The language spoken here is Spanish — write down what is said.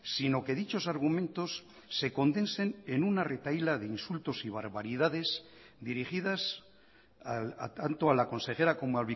sino que dichos argumentos se condensen en una retahíla de insultos y barbaridades dirigidas tanto a la consejera como